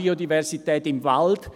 ] Biodiversität im Wald